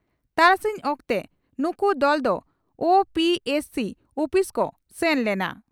ᱛᱟᱨᱟᱥᱤᱧ ᱚᱠᱛᱮ ᱱᱩᱠᱩ ᱫᱚᱞ ᱫᱚ ᱳᱹᱯᱤᱹᱮᱥᱹᱥᱤᱹ ᱩᱯᱤᱥ ᱠᱚ ᱥᱮᱱ ᱞᱮᱱᱟ ᱾